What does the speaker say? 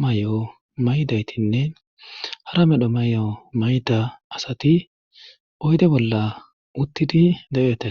may'o maydaytinne hara medho may'o mayda asati oyde bolla uttidi de'etes